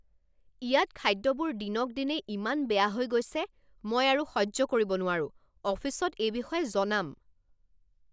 ইয়াত খাদ্যবোৰ দিনক দিনে ইমান বেয়া হৈ গৈছে। মই আৰু সহ্য কৰিব নোৱাৰোঁ, অফিচত এই বিষয়ে জনাম।